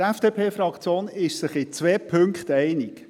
Die FDP-Fraktion ist sich in zwei Punkten einig.